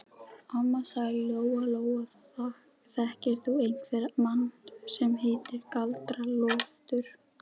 Amma, sagði Lóa Lóa, þekkir þú einhvern mann sem heitir Galdra-Loftur?